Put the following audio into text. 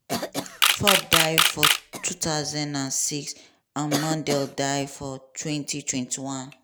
ford die for 2006 and mondale die for 2021.